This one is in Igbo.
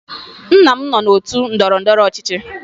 Nna m nọ n'otu ndọrọndọrọ ọchịchị